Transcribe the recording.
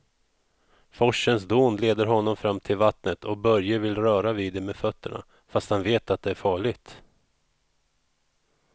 Forsens dån leder honom fram till vattnet och Börje vill röra vid det med fötterna, fast han vet att det är farligt.